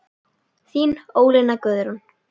Þín Ólína Guðrún.